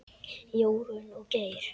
Jórunn og Geir.